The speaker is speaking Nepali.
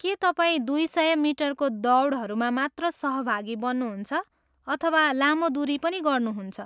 के तपाईँ दुई सय मिटरको दौडहरूमा मात्र सहभागी बन्नुहुन्छ अथवा लामो दुरी पनि गर्नुहुन्छ?